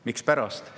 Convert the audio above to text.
Mispärast?